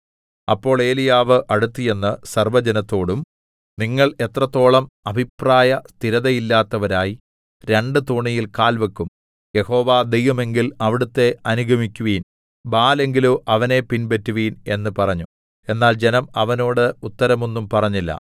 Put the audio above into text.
അപ്പോൾ ഏലീയാവ് അടുത്തുചെന്ന് സർവ്വജനത്തോടും നിങ്ങൾ എത്രത്തോളം അഭിപ്രായ സ്ഥിരതയില്ലാത്തവരായി രണ്ട് തോണിയിൽ കാൽ വെക്കും യഹോവ ദൈവം എങ്കിൽ അവിടുത്തെ അനുഗമിക്കുവിൻ ബാല്‍ എങ്കിലോ അവനെ പിൻപറ്റുവിൻ എന്ന് പറഞ്ഞു എന്നാൽ ജനം അവനോട് ഉത്തരം ഒന്നും പറഞ്ഞില്ല